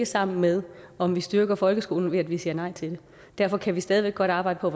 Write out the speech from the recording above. sammen med om vi styrker folkeskolen ved at vi siger nej til det derfor kan vi stadig væk godt arbejde for